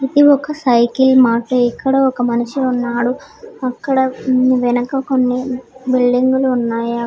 ఇది ఒక సైకిల్ మాటే ఇక్కడ ఒక మనిషి ఉన్నాడు అక్కడ మ్మ్ వెనక కొన్ని బిల్డింగులు ఉన్నాయా?